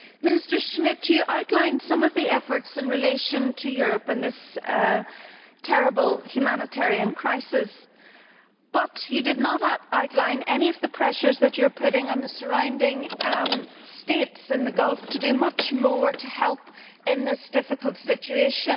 Mr Schmit, you outlined some of the efforts in relation to Europe and this terrible humanitarian crisis, but you did not outline any of the pressures that you are putting on the surrounding states in the Gulf to do much more to help in this difficult situation.